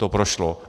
To prošlo.